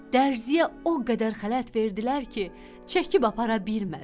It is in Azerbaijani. Dərziyə o qədər xələt verdilər ki, çəkib apara bilmədi.